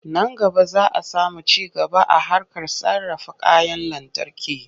Nan gaba za a samu ci gaba a harkar sarrafa kayan lantarki.